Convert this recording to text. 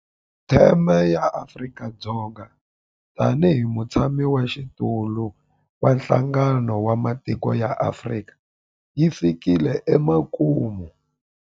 Theme ya Afrika-Dzonga tanihi mutshamaxitulu wa Nhlangano wa Matiko ya Afrika yi fikile emakumu.